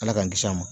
Ala k'an kisi a ma